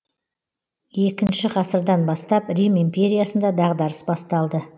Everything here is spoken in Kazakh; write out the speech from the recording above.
екінші ғасырдан бастап рим империясында дағдарыс басталды